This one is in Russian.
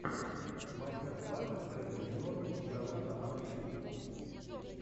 мастер класс вредный енот игровой канал ютюб